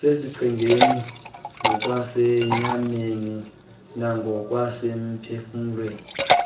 sesichengeni ngokwasenyameni nangokwasemphefumlweni